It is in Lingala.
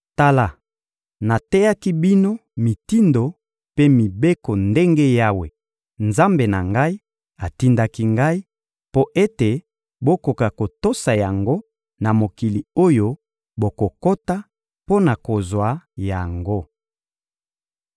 Tala, nateyaki bino mitindo mpe mibeko ndenge Yawe, Nzambe na ngai, atindaki ngai, mpo ete bokoka kotosa yango na mokili oyo bokokota mpo na kozwa yango.